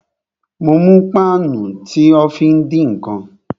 Mo mú páànù tí o fí ń dín ǹkan